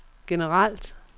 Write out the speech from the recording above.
generelt